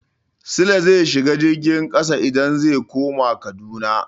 Sule zai shiga jirgin ƙasa idan zai koma Kaduna.